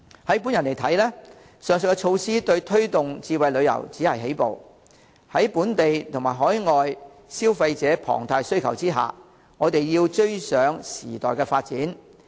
以我看來，上述措施對推動智慧旅遊只是起步，在本地、海外消費者龐大需求下，我們要追上時代發展。